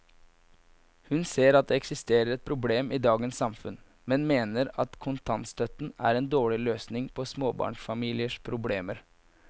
Hun ser at det eksisterer et problem i dagens samfunn, men mener at kontantstøtte er en dårlig løsning på småbarnsfamiliers problemer.